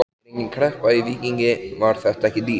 Er engin kreppa í Víkingi, var þetta ekki dýrt?